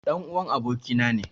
Ɗan'uwan abokina ne.